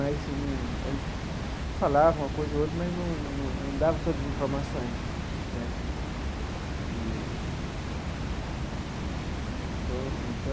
Mas e num a gente falava uma coisa ou outra, mas num num num dava todas as informações né eee.